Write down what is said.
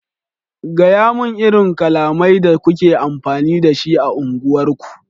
gayamun irin kalamai da kuke amfani da shi a unguwar ku!